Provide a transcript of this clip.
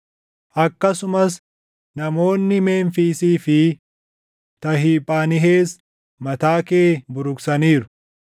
Akkasumas namoonni Memfiisii fi Tahiphaanhees mataa kee buruqsaniiru.